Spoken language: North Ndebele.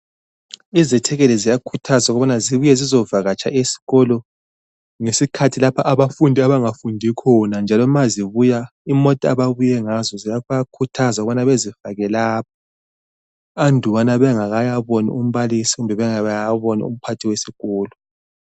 Izethekeli ziyakhuthazwa ukubana zibuye zizovakataha esikolo ngesikhathi lapho abafundi abangafundi khona njalo ma zibuye imota ababuye ngazo bayakhuthaza ukubana bazifake lapha andubana bangakayibona umbalisi kumbe bengakayaboni umphathi wesikolo.